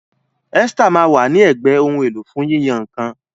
Esther ma wa ni ègbé Ohun èlò fún yíyan nǹkan.